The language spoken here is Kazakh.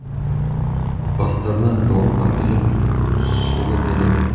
бастарына дорба іліп сұлы береді